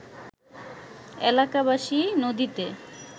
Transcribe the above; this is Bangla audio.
এলাকাবাসী নদীতে